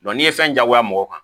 n'i ye fɛn diyagoya mɔgɔ kan